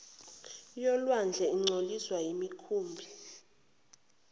yolwandle ingcoliswe yimikhumbi